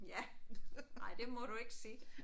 Ja ej det må du ikke sige